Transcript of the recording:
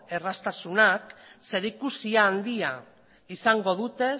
erraztasunak zerikusi handia izango dute